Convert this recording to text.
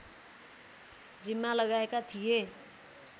जिम्मा लगाएका थिए